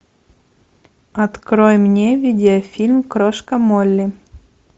открой мне видеофильм крошка молли